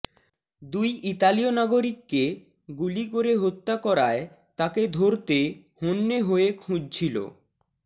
দুই ইতালীয় নাগরিককে গুলি করে হত্যা করায় তাকে ধরতে হন্যে হয়ে খুঁজছিল